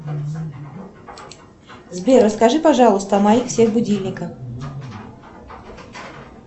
сбер расскажи пожалуйста о моих всех будильниках